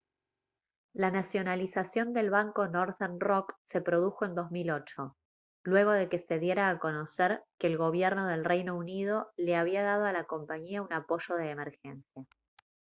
la nacionalización del banco northern rock se produjo en 2008 luego de que se diera a conocer que el gobierno del reino unido le había dado a la compañía un apoyo de emergencia